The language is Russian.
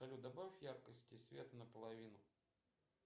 салют добавь яркости света наполовину